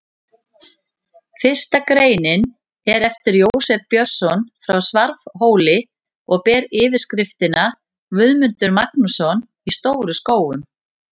Fyrsta greinin er eftir Jósef Björnsson á Svarfhóli og ber yfirskriftina: Guðmundur Magnússon í Stóru-Skógum.